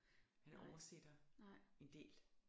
Han oversætter en del